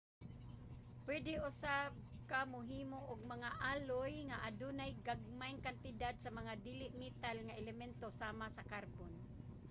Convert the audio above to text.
puede usab ka mohimo og mga alloy nga adunay gagmayng kantidad sa mga dili-metal nga elemento sama sa karbon